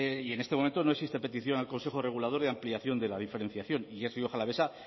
y en este momento no existe petición al consejo regulador de ampliación de la diferenciación y es rioja alavesa